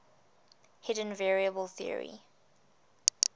hidden variable theory